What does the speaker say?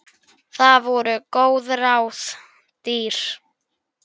Það voru góð ráð dýr.